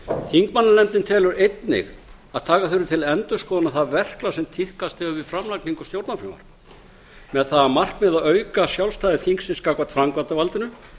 þingmannanefndin telur einnig að taka þurfi til endurskoðunar það verklag sem tíðkast hefur við framlagningu stjórnarfrumvarpa með það að markmiði að auka sjálfstæði þingsins gagnvart framkvæmdarvaldinu